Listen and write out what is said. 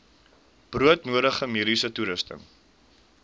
broodnodige mediese toerusting